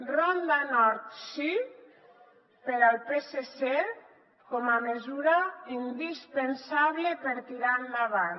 ronda nord sí per al psc com a mesura indispensable per tirar endavant